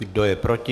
Kdo je proti?